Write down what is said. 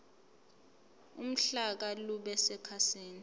uhlaka lube sekhasini